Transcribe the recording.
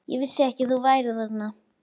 Ég vissi ekki að þú værir þarna.